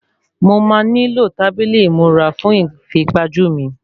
Mo má nílò tábìlì ìmúra fún ìfipajú mi